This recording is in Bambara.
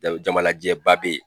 Jama lajɛnba bɛ yen